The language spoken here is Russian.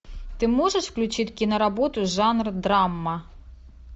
ты можешь включить киноработу жанра драма